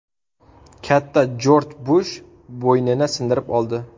Katta Jorj Bush bo‘ynini sindirib oldi.